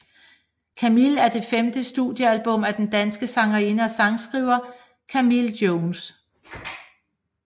Camille er det femte studiealbum af den danske sangerinde og sangskriver Camille Jones